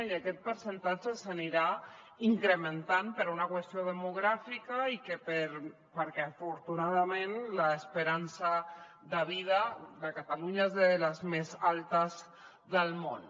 i aquest percentatge s’anirà incrementant per una qüestió demogràfica i perquè afortunadament l’esperança de vida de catalunya és de les més altes del món